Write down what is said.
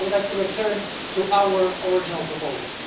So I would like to return to our original proposal.